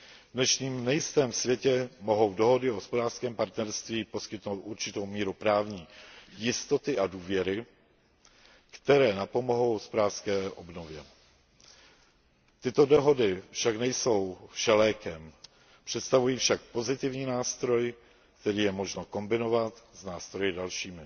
V dnešním nejistém světě mohou dohody o hospodářském partnerství poskytnout určitou míru právní jistoty a důvěry, které napomohou hospodářské obnově. Tyto dohody však nejsou všelékem, představují však pozitivní nástroj, který je možno kombinovat s nástroji dalšími.